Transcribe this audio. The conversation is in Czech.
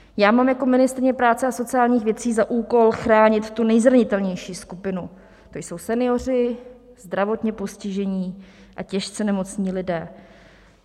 Já mám jako ministryně práce a sociálních věcí za úkol chránit tu nejzranitelnější skupinu, to jsou senioři, zdravotně postižení a těžce nemocní lidé.